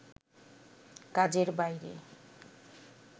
কাজের বাইরে